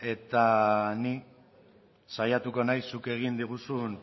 eta ni saiatuko naiz zuk egin diguzun